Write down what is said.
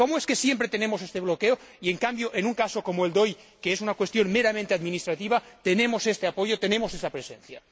¿Cómo es que siempre tenemos ese bloqueo y, en cambio, en un caso como el de hoy, que es una cuestión meramente administrativa, tenemos este apoyo, tenemos esa presencia?